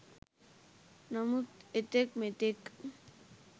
නමුත් එතෙක් මෙතෙක්